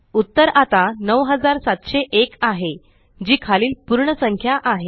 उत्तर आता 9701आहे जी खालील पूर्ण संख्या आहे